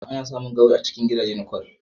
Ana samun gawayi a cikin gadaje na kwal